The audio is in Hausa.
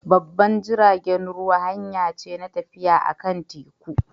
Babban jiragen ruwa hanya ce na tafiya akan teku.